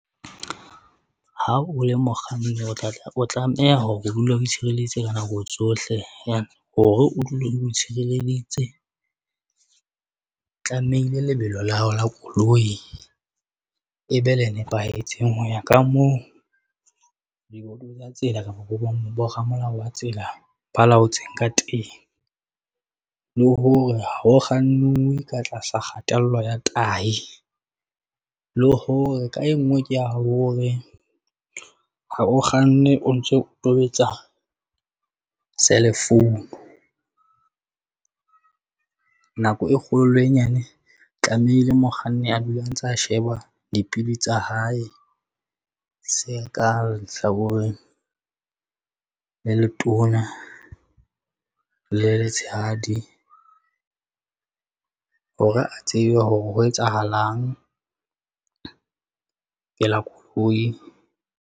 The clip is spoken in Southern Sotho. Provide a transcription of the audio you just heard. Ha o le mokganni o tla, tla o tlameha hore o dule o itshireleditse ka nako tsohle and hore o dule o itshireleditse. Tlamehile lebelo la hao la koloi e be le nepahetseng. Ho ya ka moo tsa tsela kapa boramolao ba tsela ba laotseng ka teng. Le hore ho ho kgannuwe ka tlasa kgatello ya tahi le hore ka e nngwe ke ya hore ha o kganne o ntso o tobetsa cell phone. Nako e kgolo le e nyane tlamehile mokganni a dula a ntsa sheba dipili tsa hae. Se ka sa lehlakoreng le letona le letshehadi hore a tsebe hore ho etsahalang koloi.